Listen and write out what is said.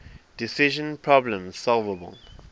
decision problems solvable